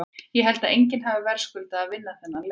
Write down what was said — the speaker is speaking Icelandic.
Ég held að enginn hafi verðskuldað að vinna þennan leik.